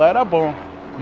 Lá era bom.